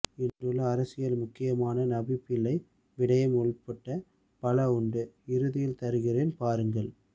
இன்றுள்ள அரசியல் முக்கியமான நவி பிள்ளை விடயம் உட்பட பல உண்டு இறுதியில் தருகின்றேன் பாருங்கள்